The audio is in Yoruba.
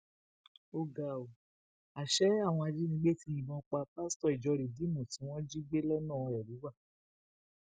ó ga ọ àṣẹ àwọn ajìnigbẹ tí yìnbọn pa pásítọ ìjọ rìdíìmù tí wọn jí gbé lọnà ẹrúwà